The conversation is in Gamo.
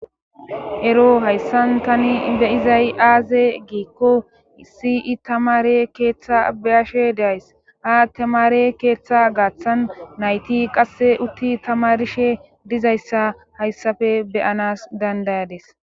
ero hayssan tani beyizay aaze giikko sii tamare keeththa beyashe deays ha tamare keeththa gaaththan nayti qasse utti tamarshe dizayssa hayssafe beyanas dandayades